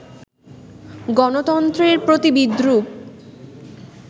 গণতন্ত্রের প্রতি বিদ্রুপ